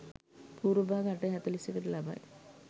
පූර්ව භාග 8.41 ට ලබයි.